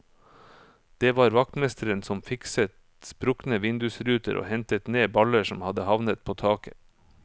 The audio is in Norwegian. Det var vaktmesteren som fikset sprukne vindusruter og hentet ned baller som hadde havnet på taket.